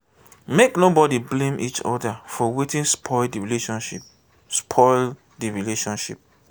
make nobody blame each oda for wetin spoil di relationship spoil di relationship